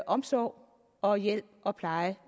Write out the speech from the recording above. omsorg og hjælp og pleje